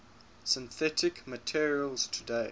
synthetic materials today